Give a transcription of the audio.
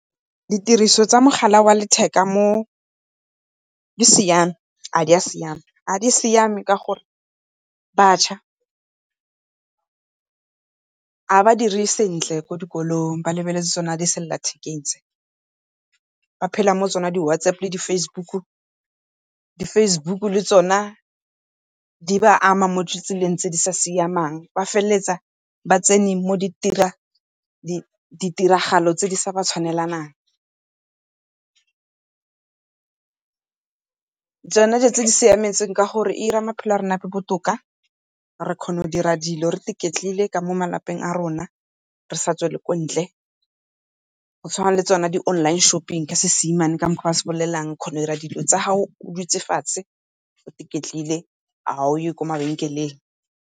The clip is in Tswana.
Ditiriso tsa mogala wa letheka mo di siame ga dia siama. Ga di siame ka gore batšha ga ba dire sentle ko dikolong ba lebeletse tsone di sella lethekeng tse. Ba phela mo tsona di-WhatsApp le di-Facebook. Di-Facebook le tsone di ba ama mo ditseleng tse di sa siamang, ba feleletsa ba tsene mo ditiragalo tse di sa ba tshwanelanang. Tsone dilo tse di e siametseng ke gore e dira maphelo a rona a nne botoka, re kgona go dira dilo re iketlile ka mo malapeng a rona re sa tswele kwa ntle. Go tshwana le tsone di-online shopping ka seesemane ka mokgwa o ba se bolelang, o kgona go dira dilo tsa gago o iketlile ga o ye kwa mabenkeleng.